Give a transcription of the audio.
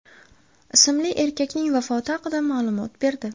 ismli erkakning vafoti haqida ma’lumot berdi .